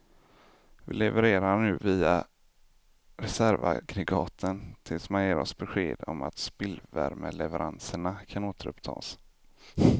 Vi levererar nu via reservaggregaten tills man ger oss besked om att spillvärmeleveranserna kan återupptas.